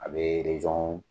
A bɛ rejon